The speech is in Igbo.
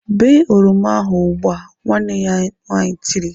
"Bee oroma ahụ ugbu! "Nwanne ya nwaanyị tiri.